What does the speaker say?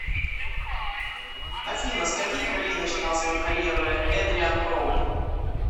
афина с каких ролей начинал свою карьеру эдриан броуди